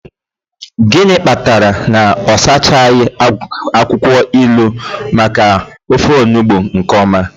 Gịnị kpatara na ọ sachaghị akwụkwọ ilu maka ofe onugbu nke ọma?